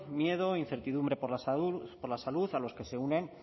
miedo incertidumbre por la salud a los que se unen